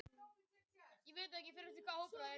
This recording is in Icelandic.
Aðgerðin kostaði hundruð þúsunda mannslífa.